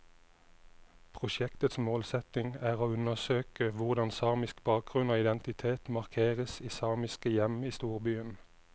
Prosjektets målsetning er å undersøke hvordan samisk bakgrunn og identitet markeres i samiske hjem i storbyen.